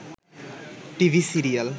TV serial